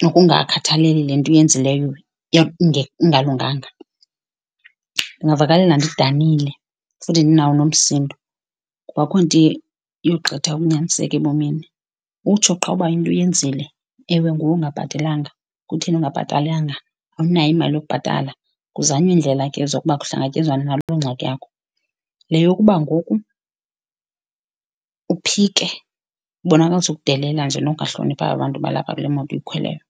nokungakhathaleli le nto uyenzileyo ingalunganga. Ndingavakalelwa ndidanile futhi ndinawo nomsindo kuba akukho nto iyogqitha ukunyaniseka ebomini. Utsho qha uba into uyenzile. Ewe, nguwe ongabhatelanga. Kutheni ungabhatalanga, awunayo imali yokubhatala? Kuzanywe iindlela ke zokuba kuhlangatyezwane naloo ngxaki yakho. Le yokuba ngoku uphike, ubonakalisa ukudelela nje nokungahloniphi aba bantu balapha kule moto uyikhweleyo.